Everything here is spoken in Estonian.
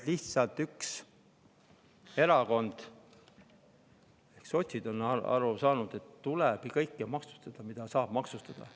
Lihtsalt üks erakond, sotsid, on aru saanud, et tuleb maksustada kõike, mida saab maksustada.